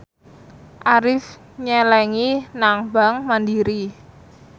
Arif nyelengi nang bank mandiri